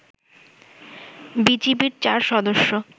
বিজিবির ৪ সদস্য